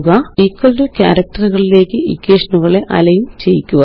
equal to ക്യാരക്റ്ററുകളിലേയ്ക്ക് ഇക്വേഷനുകളെ align ചെയ്യുക